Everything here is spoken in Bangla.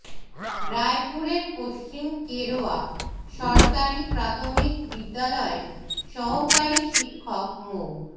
রায়পুরের পশ্চিম কেরোয়া সরকারি প্রাথমিক বিদ্যালয়ের সহকারী শিক্ষক মো